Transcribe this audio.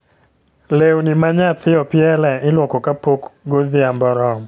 Lewni ma nyathi opielie iluoko ka pok godhiambo oromo